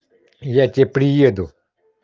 я тебе приеду